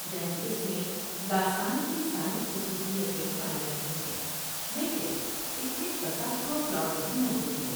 یعنی اس میں داستان کی ساری خصوصیتیں پائی جاتی ہیں لیکن اس میں کسا ہوا پلاٹ بھی موجود ہے ۔